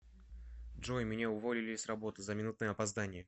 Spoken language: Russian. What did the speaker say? джой меня уволили с работы за минутное опоздание